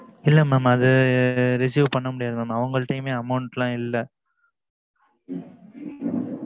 இல்ல mam அது receive பண்ண முடியாது mam அவுங்கட்டியுமே amount லாம் இல்ல